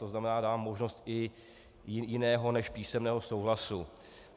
To znamená, dávám možnost i jiného než písemného souhlasu.